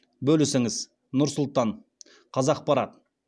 бөлісіңіз нұр сұлтан қазақпарат